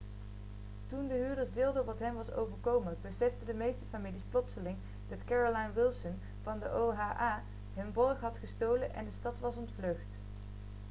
toen de huurders deelden wat hen was overkomen beseften de meeste families plotseling dat carolyn wilson van de oha hun borg had gestolen en de stad was ontvlucht